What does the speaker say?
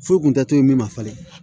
Furu kun tɛ to ye min ma falen